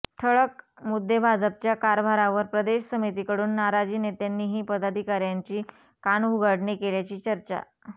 ठळक मुद्देभाजपच्या कारभारावर प्रदेश समितीकडून नाराजीनेत्यांनीही पदाधिकाऱ्यांची कानउघाडणी केल्याची चर्चा